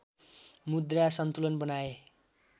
मुद्रा सन्तुलन बनाए